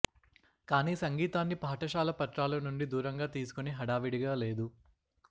కానీ సంగీతాన్ని పాఠశాల పత్రాలు నుండి దూరంగా తీసుకుని హడావిడిగా లేదు